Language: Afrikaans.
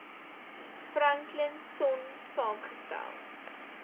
franklin sonn saamgestel